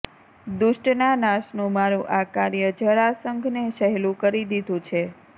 દુષ્ટના નાશનું મારું આ કાર્ય જરાસંઘને સહેલું કરી દીધું છે